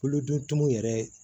Kolodon tumun yɛrɛ